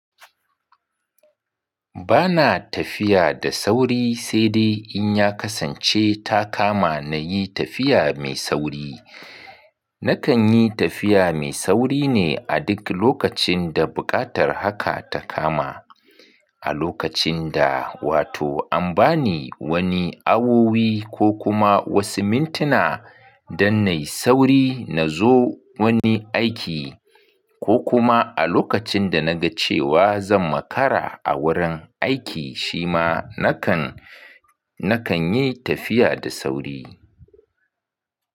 Ba na tafiya da sauri sai dai in ya kasance ta kama na yi tafiya mai sauri. Na kan yi tafiya mai sauri ne a duk lokacin da buƙatar haka ta kama. A lokacin da wato an ba ni wani awowi ko kuma wasu mintuna don na yi sauri na zo wani aiki ko kuma a lokacin da na ga cewa zan makara a wurin aiki, shi ma na kan, na kan yi tafiya da sauri.